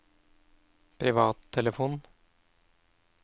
privattelefon